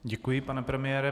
Děkuji, pane premiére.